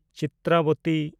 ᱪᱤᱛᱨᱟᱵᱚᱛᱤ